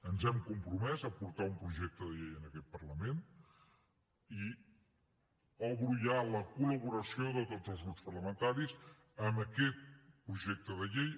ens hem compromès a portar un projecte de llei a aquest parlament i obro ja a la col·laboració de tots els grups parlamentaris aquest projecte de llei